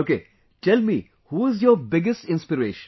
Ok tell me who is your biggest inspiration